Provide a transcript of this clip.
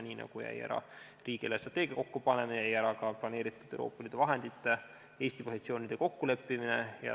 Nii nagu jäi ära riigi eelarvestrateegia kokkupanemine, jäi ära ka planeeritud Euroopa Liidu vahendite Eesti positsioonide kokkuleppimine.